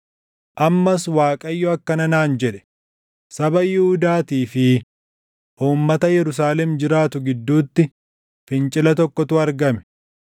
Ammas Waaqayyo akkana naan jedhe; “Saba Yihuudaatii fi uummata Yerusaalem jiraatu gidduutti fincila tokkotu argame.